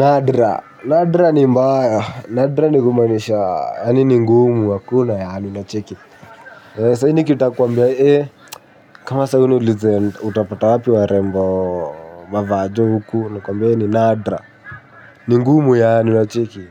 Nadra, nadra ni mbaya, nadra ni kumanisha, yaani ni ngumu hakuna yaani unacheki. Sahi nikita kuambia, eh, kama sahi uniulize, utapata wapi warembo, mavajo huku, nakuwmbia hio ni nadra, ningumu yaani unacheki.